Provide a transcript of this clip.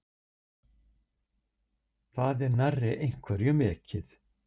Það er nærri einhverjum ekið